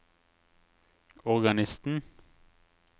organisten